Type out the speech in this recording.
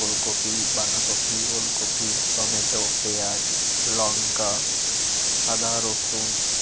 ফুলকপি বাধাকপি ওলকপি টমেটো পেয়াজ লঙ্কা আদা রসুন।